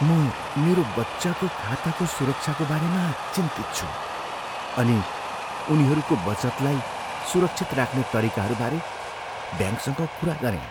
म मेरो बच्चाको खाताको सुरक्षाको बारेमा चिन्तित छु अनि उनीहरूको बचतलाई सुरक्षित राख्ने तरिकाहरूबारे ब्याङ्कसँग कुरा गरेँ।